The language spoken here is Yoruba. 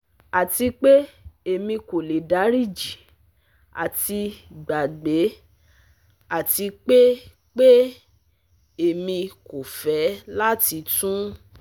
Ati pe emi ko le dariji ati gbagbe ati pe pe Emi ko fẹ lati tun